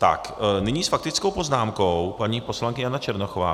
Tak nyní s faktickou poznámkou paní poslankyně Jana Černochová.